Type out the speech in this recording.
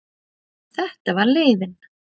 Þetta var leiðin.